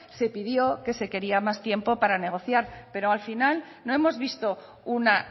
se pidió que se quería más tiempo para negociar pero al final no hemos visto una